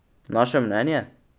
Naše mnenje?